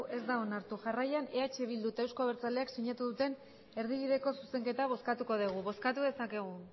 ez da onartu jarraian eh bildu eta euzko abertzaleak sinatu duten erdibideko zuzenketa bozkatuko dugu bozkatu dezakegu